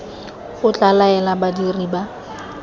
o tla laela badiri ba